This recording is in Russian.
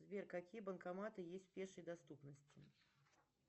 сбер какие банкоматы есть в пешей доступности